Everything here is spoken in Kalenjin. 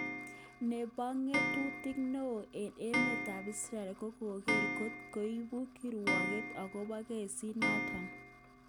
Nebo ngotutik neo eng emet ab Israel kokere kot koibu kirwoget okobo kesit noton.